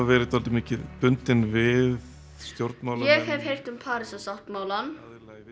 verið dálítið mikið bundnar við stjórnmálamenn ég hef heyrt um Parísarsáttmálann